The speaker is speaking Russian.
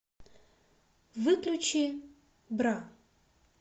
выключи бра